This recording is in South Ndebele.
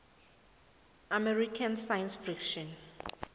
american science fiction